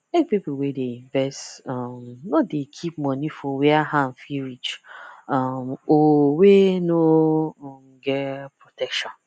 make people wey dey invest um nor dey keep money for where hand fit reach um or wey no um get protection